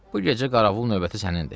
Bu gecə qaravul növbəti sənindir.